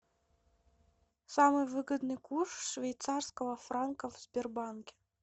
самый выгодный курс швейцарского франка в сбербанке